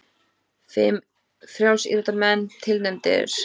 Fimm frjálsíþróttamenn tilnefndir